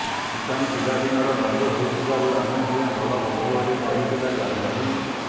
ଇଶାନ ପିଲା ଦିନର ବନ୍ଧୁ ହୋଇଥିବାରୁ ଆମେ ଦୁହେଁ ଭଲ ବନ୍ଧୁ ବୋଲି କହିଥିଲେ ଜାହ୍ନବୀ